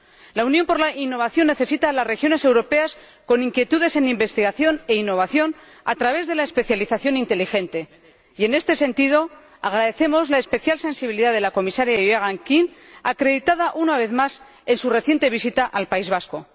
La Unión por la innovación necesita a las regiones europeas con inquietudes en investigación e innovación, a través de la especialización inteligente y, en este sentido, agradecemos la especial sensibilidad de la Comisaria Geoghegan Quinn, acreditada una vez más en su reciente visita al País Vasco.